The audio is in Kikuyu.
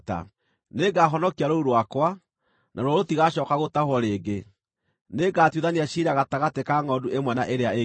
nĩngahonokia rũũru rwakwa, naruo rũtigaacooka gũtahwo rĩngĩ. Nĩngatuithania ciira gatagatĩ ka ngʼondu ĩmwe na ĩrĩa ĩngĩ.